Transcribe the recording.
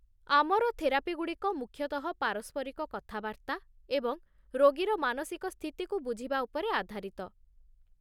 ଆମର ଥେରାପି ଗୁଡ଼ିକ ମୁଖ୍ୟତଃ ପାରସ୍ପରିକ କଥାବାର୍ତ୍ତା ଏବଂ ରୋଗୀର ମାନସିକ ସ୍ଥିତିକୁ ବୁଝିବା ଉପରେ ଆଧାରିତ।